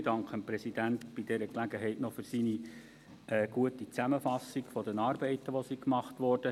Ich danke dem Präsidenten bei dieser Gelegenheit noch für seine gute Zusammenfassung der Arbeiten, die gemacht wurden.